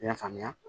I y'a faamuya